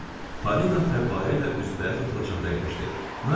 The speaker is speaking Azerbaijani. Parina fəvvarə ilə üzbəüz oturacaqda əyləşdi.